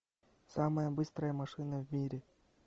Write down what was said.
самая быстрая машина в мире